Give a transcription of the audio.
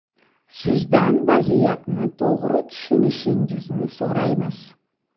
Sizdan vaziyatni to‘g‘ri tushunishingizni so‘raymiz.